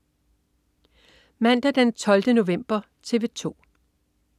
Mandag den 12. november - TV 2: